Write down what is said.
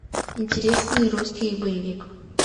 интересный русский боевик